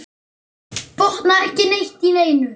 Botnaði ekki neitt í neinu.